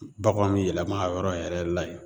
Bagan bɛ yɛlɛma a yɔrɔ yɛrɛ la yen